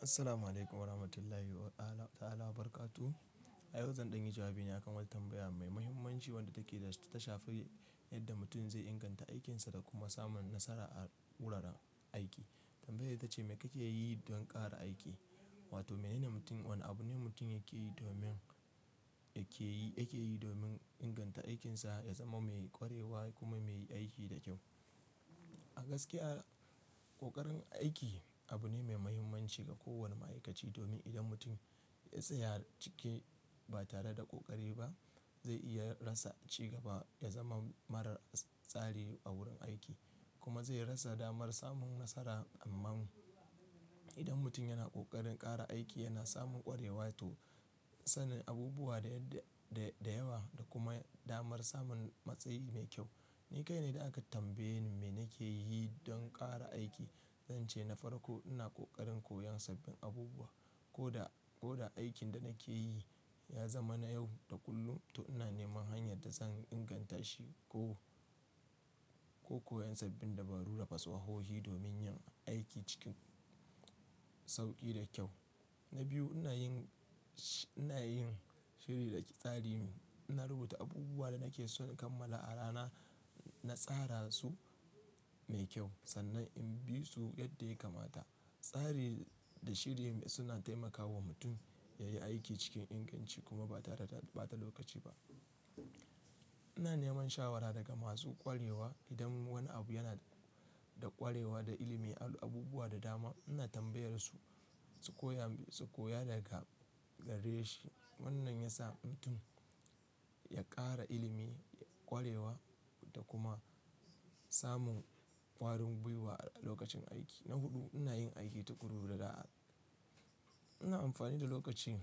Assalamu'alaikum warahmatullahi wa ala ta'ala wa barakatu. A yanzu zan ɗan yi jawabi ne a kan wata tambaya mai muhimmanci wadda take ta shafi yadda mutum zai inganta aikinsa da kuma samun nasara a wurin aiki. Tambaya ita ce, me kake yi don ƙara aiki? Wato menene mutum, wane abu ne mutum yake yi domin, yake yi, yake yi domin inganta aikinsa ya zama mai ƙwarewa kuma mai yi aiki da kyau. A gaskiya, ƙoƙarin aiki abu ne mai muhimmanci ga kowane ma'aikaci domin idan mutum ya tsaya cike ba tare da ƙoƙari ba, zai iya rasa ci gaba da zaman marar tsari a wurin aiki kuma zai rasa damar samun nasara. Amma idan mutum yana ƙoƙarin ƙara aiki yana samun ƙwarewa to sanin abubuwa da yadda, da, da yawa da kuma damar samun matsayi mai kyau. Ni kai ne da aka tambaye ni me nake yi don ƙara aiki. Zanci na farko ina ƙoƙarin koyon sabbin abubuwa. Ko da, ko da aikin da nake yi ya zama na yau da kullum, to ina neman hanyar da zan inganta shi ko, ko koyon sabbin dabaru da fasahohi domin yin aiki cikin sauƙi da kyau. Na biyu, ina yin shi, ina yin shiri da tsari. Na rubuta abubuwan da nake so in kammala a rana, na tsara su mai kyau sannan in bi su yadda ya kamata. Tsari da shiri suna taimakawa mutum ya yi aiki cikin inganci kuma ba tare da ɓata lokaci ba. Ina neman shawara daga masu ƙwarewa. Idan wani abu yana da ƙwarewa da ilimin abubuwa da dama, ina tambayarsu su koya, su koya daga gare shi. Wannan ya sa mutum ya ƙara ilimi, ƙwarewa da kuma samun ƙwarin gwiwa a lokacin aiki. Na huɗu, ina yin aiki tuƙuru da da'a. Ina amfani da lokaci,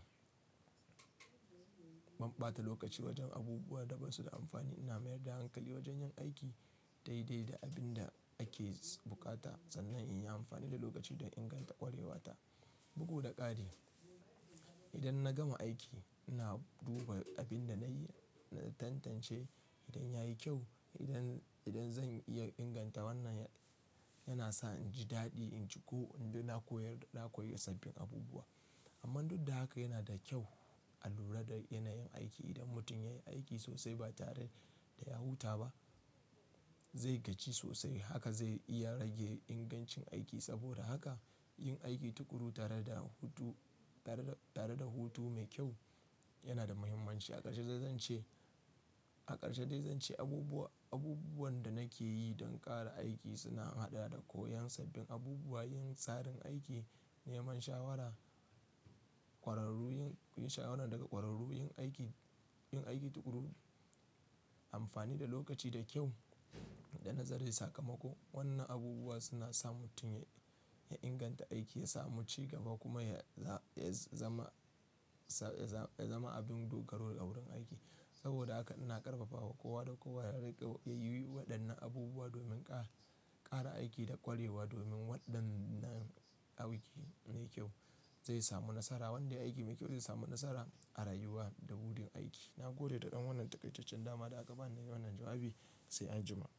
ban ɓata lokaci wajen abubuwa da ba su da amfani. Ina mayar da hankali wajen yan aiki daidai da abinda ake buƙata sannan in yi amfani da lokaci don inganta ƙwarewata. Bugu da ƙare, idan na gama aiki ina duba abin da na yi, na tantance idan ya yi kyau. Idan, idan zan iya inganta wannan yana sa in ji daɗi, in ji ko ina koyar, na koyi sabbin abubuwa. Amma duk da haka yana da kyau a lura da yanayin aiki. Idan mutum ya yi aiki sosai ba tare da ya huta ba, zai gaji sosai. Haka zai iya rage ingancin aiki. Saboda haka yin aiki tuƙuru tare da hutu, tare da, tare da hutu mai kyau yana da muhimmanci. A ƙarshe zai, zan ce, a ƙarshe dai zan ce abubuwa, abubuwan da nake yi don ƙara aiki suna haɗa da koyon sabbin abubuwa, yin tsarin aiki, neman shawara, ƙwararru, yin shawara daga ƙwararru, yin aiki, yin aiki tuƙuru, amfani da lokaci da kyau da nazare sakamako. Wannan abubuwa suna sa mutum ya, ya inganta aiki, ya sami ci gaba kuma ya za, ya zama, ya za, ya zama abin dogaro a wurin aiki. Saboda haka ina ƙarfafawa kowa da kowa ya riƙe, ya yi waɗannan abubuwa domin ƙara, ƙara aiki da ƙwarewa domin waɗannan aiki mai kyau zai samu nasara. Wanda yayi aiki mai kyau zai samu nasara a rayuwa da wurin aiki. Na gode da ɗan wannan takaitaccen dama da aka ba ni da yin wannan jawabi. Sai anjima.